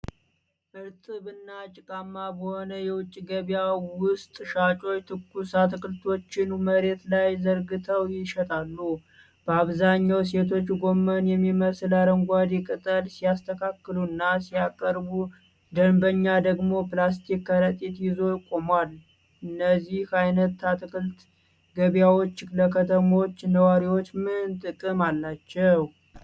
እርጥብ እና ጭቃማ በሆነ የውጭ ገበያ ውስጥ ሻጮች ትኩስ አትክልቶችን መሬት ላይ ዘርግተው ይሸጣሉ። በአብዛኛው ሴቶች ጎመን የሚመስል አረንጓዴ ቅጠል ሲያስተካክሉና ሲያቀርቡ፣ ደንበኛ ደግሞ ፕላስቲክ ከረጢት ይዞ ቆሟል። እነዚህ አይነት አትክልት ገበያዎች ለከተሞች ነዋሪዎች ምን ጥቅም አላቸው?